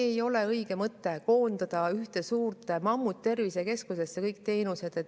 Ei ole õige mõte koondada kõik teenused ühte suurde mammuttervisekeskusesse.